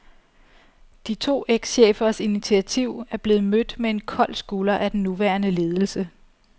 De to ekschefers initiativ er blevet mødt med en kold skulder af den nuværende ledelse.